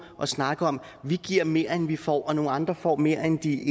og snakke om at vi giver mere end vi får og nogle andre får mere end de